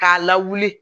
K'a lawuli